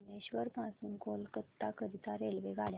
भुवनेश्वर पासून कोलकाता करीता रेल्वेगाड्या